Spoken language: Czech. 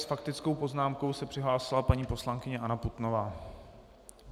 S faktickou poznámkou se přihlásila paní poslankyně Anna Putnová.